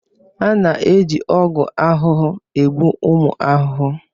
A na-eji ọgwụ ahụhụ egbu ụmụ ahụhụ.